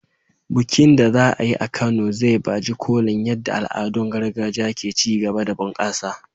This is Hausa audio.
Bikin da za a yi a Kano zai baje kolin yadda al'adun gargajiya ke ci gaba da bunƙasa.